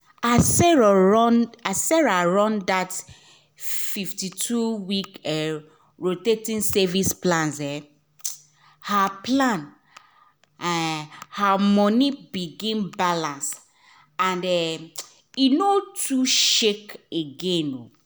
as sarah run that 52-week rotating savings plan um her plan um her money begin balance and e um no too shake again um